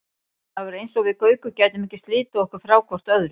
Það var eins og við Gaukur gætum ekki slitið okkur frá hvort öðru.